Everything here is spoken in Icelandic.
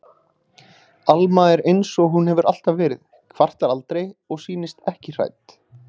Alma er einsog hún hefur alltaf verið, kvartar aldrei og sýnist ekki hrædd.